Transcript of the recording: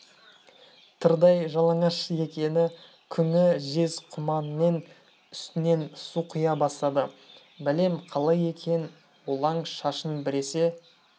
тырдай жалаңаш екен күңі жез құманмен үстінен су құя бастады бәлем қалай екен олаң шашын біресе